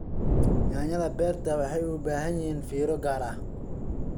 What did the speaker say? Yaanyada beerta waxay u baahan yihiin fiiro gaar ah.